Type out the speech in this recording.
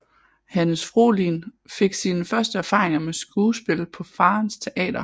Hannes Fohlin fik sine første erfaringer med skuespil på faderens teater